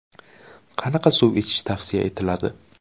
Qanaqa suv ichish tavsiya etiladi?